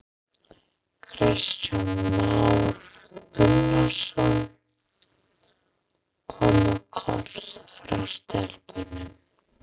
Kristján Már Unnarsson: Koma köll frá stelpunum?